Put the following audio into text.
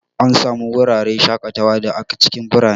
Ana samun wuraren shakatawa da a cikin birane.